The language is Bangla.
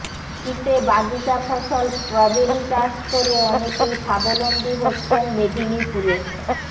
শীতে বাগিচা ফসল স্ট্রবেরি চাষ করে অনেকেই স্বাবলম্বী হচ্ছেন মেদিনীপুরে